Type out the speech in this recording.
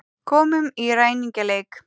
Komum í ræningjaleik.